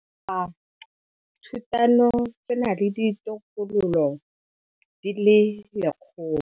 Setlhophathutano se na le ditokololo di le 100.